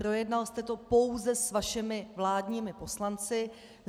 Projednal jste to pouze s vašimi vládními poslanci.